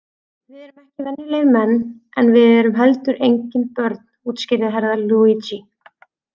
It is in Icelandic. Við erum ekki venjulegir menn en við erum heldur engin börn, útskýrði Herra Luigi.